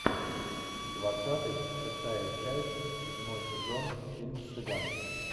двадцатый шестая часть седьмой сезон фильм цыган